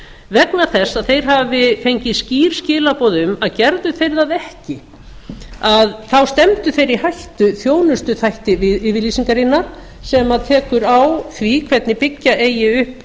vegna þess að þeir hafi fengið skýr skilaboð um að gerðu þeir það ekki þá stefndu þeir í hættu þjónustuþætti yfirlýsingarinnar sem tekur á því hvernig byggja